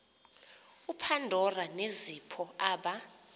upandora nezipho aba